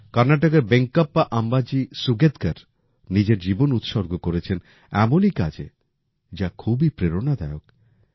কর্নাটকের বেঙ্কপ্পা আম্বাজি সুগেৎকার নিজের জীবন উৎসর্গ করেছেন এমনই কাজে যা খুবই প্রেরণাদায়ক